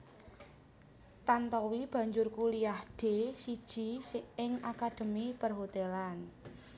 Tantowi banjur kuliah D siji ing akademi Perhotelan